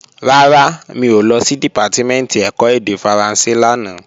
Rárá, mi ò lọ sí Dìpátímẹ̀ntì ẹ̀kọ́ èdè Faransé lánàá